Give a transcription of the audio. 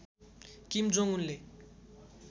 किम Jong उनले